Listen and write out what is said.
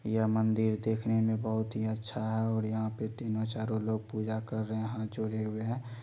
यह मंदिर देखने में बहुत ही अच्छा है और यहां पर तीनों चारों लोग पूजा कर रहे हैं हाथ जोड़े हुए हैं।